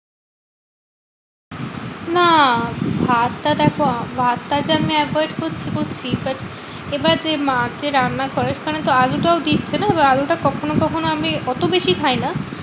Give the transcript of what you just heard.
না ভাতটা দেখো ভাতটা যে আমি avoid করছি করছি। but এবার যে মা যে রান্না করে সেখানে তো আলু টাও দিচ্ছে না? এবার আলুটা কখনো কখনো আমি অত বেশি খাই না।